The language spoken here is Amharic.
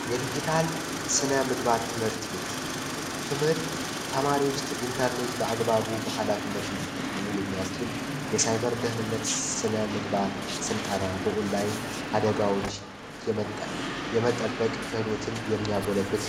የዲጂታል ምግባር ትምህርት ቤት ትምህርት ተማሪዎች ኢንተርኔት በአግባቡ ኃላፊነት እንዲጠቀሙ የሚያስችል ደህንነት ነ ምግባር ስልጠና በኦንላይን አደጋዎች የመጣ የመጠበቅ ክህሎትን የሚያጎለብት ነው